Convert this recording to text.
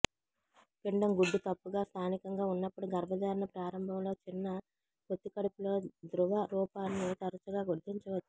పిండం గుడ్డు తప్పుగా స్థానికంగా ఉన్నప్పుడు గర్భధారణ ప్రారంభంలో చిన్న పొత్తికడుపులో ద్రవ రూపాన్ని తరచుగా గుర్తించవచ్చు